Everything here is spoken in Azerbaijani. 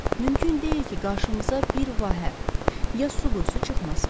Mümkün deyil ki, qarşımıza bir vahə, ya su quyusu çıxmasın.